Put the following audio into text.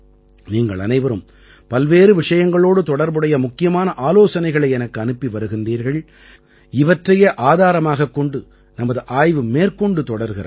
நீங்கள் அனைவரும் பல்வேறு விஷயங்களோடு தொடர்புடைய முக்கியமான ஆலோசனைகளை எனக்கு அனுப்பி வருகிறீர்கள் இவற்றையே ஆதாரமாகக் கொண்டு நமது ஆய்வு மேற்கொண்டு தொடர்கிறது